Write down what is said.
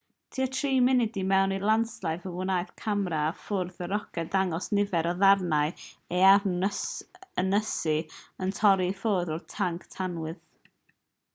tua 3 munud i mewn i'r lansiad fe wnaeth camera ar fwrdd y roced ddangos nifer o ddarnau o ewyn ynysu yn torri i ffwrdd o'r tanc tanwydd